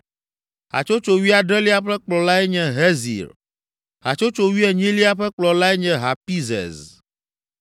Hatsotso wuiadrelia ƒe kplɔlae nye Hezir. Hatsotso wuienyilia ƒe kplɔlae nye Hapizez.